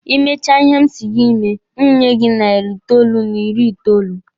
Ị mechaa ihe m si gị mee, m nye gị narị itoolu n'iri itoolu.